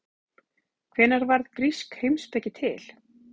Hvenær varð grísk heimspeki til?